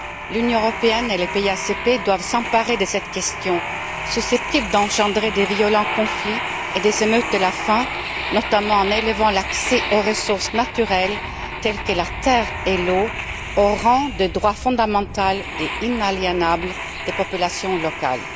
L'Union européenne et les pays ACP doivent s'emparer de cette question susceptible d'engendrer des violents conflits et des émeutes de la faim, notamment en élevant l'accès aux ressources naturelles telles que la terre et l'eau au rang de droit fondamental et inaliénable des populations locales.